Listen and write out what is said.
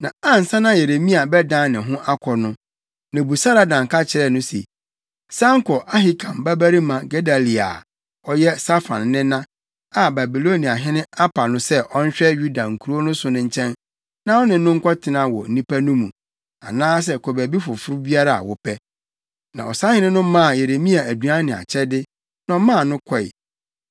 Na ansa na Yeremia bɛdan ne ho akɔ no, Nebusaradan ka kaa ho se, “San kɔ Ahikam babarima Gedalia a, ɔyɛ Safan nena, a Babiloniahene apa no sɛ ɔnhwɛ Yuda nkurow so no nkyɛn na wo ne no nkɔtena wɔ nnipa no mu, anaasɛ kɔ baabi foforo biara a wopɛ.” Na ɔsahene no maa Yeremia aduan ne akyɛde, na ɔmaa no kɔe.